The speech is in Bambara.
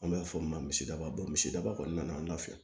An b'a fɔ min ma misidaba misidaba kɔni nana an nɔfɛ